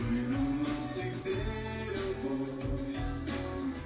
вес